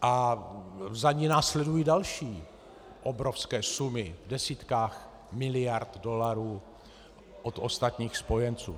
A za ní následují další obrovské sumy v desítkách miliard dolarů od ostatních spojenců.